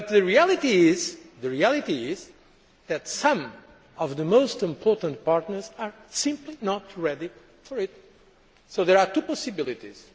But the reality is that some of our most important partners are simply not ready for it, so there are two possibilities.